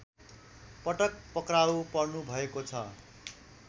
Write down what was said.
पटक पक्राउ पर्नुभएको छ